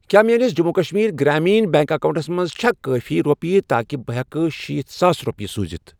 کیٛاہ میٲنِس Jammu Kashmir Grameen bank accounts منٛز چھےٚ کٲفی رۄپیہِ تاکہِ بہٕ ہٮ۪کہٕ شیٖتھ ساس رۄپیہِ سوٗزِتھ؟